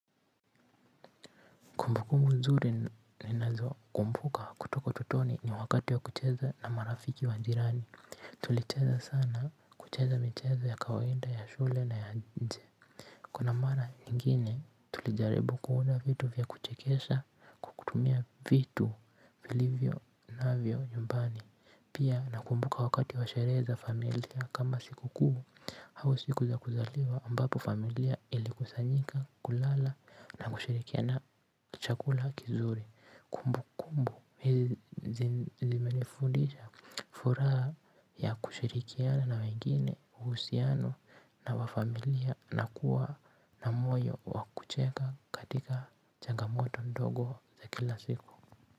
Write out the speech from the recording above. Kumbukumbu nzuri ninazo kumbuka kutoka ututoni ni wakati wa kucheza na marafiki wa jirani. Tulicheza sana kucheza michezo ya kawaida ya shule na ya nje. Kuna mara nyingine tulijaribu kuona vitu vya kuchekesha, kutumia vitu vilivyo navyo nyumbani. Pia nakumbuka wakati wa sherehe za familia kama sikukuu au siku za kuzaliwa ambapo familia ilikusanyika kula na kushirikiana chakula kizuri. Kumbu kumbu hizi zimenifundisha furaha ya kushirikiana na wengine, uhusiano wa familia na kuwa na moyo wa kucheka katika chagamoto ndogo za kila siku.